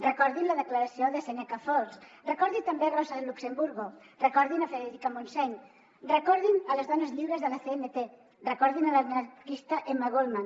recordin la declaració de seneca falls recordin també rosa luxemburgo recordin frederica montseny recordin les dones lliures de la cnt recordin l’anarquista emma goldman